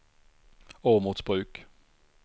Åmotsbruk